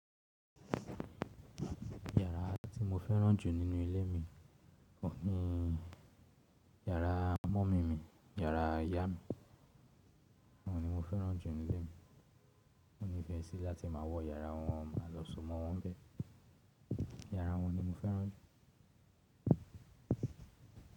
Yàrá tí mo fẹ́ràn jù nínú ilé mi ò ní, yàrá mọ́ mi mi, yàrá ìyá mi oun ni mo fẹ́ràn jù ní ilé mi. Mo nífẹẹ sí láti máa wọ yàrá wọn, máa lọ sọ̀ mọ́ wọn bẹ́ẹ̀. Yàrá wọn ni mo fẹ́ràn jù.